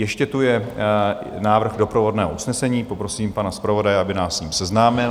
Ještě tu je návrh doprovodného usnesení, poprosím pana zpravodaje, aby nás s ním seznámil.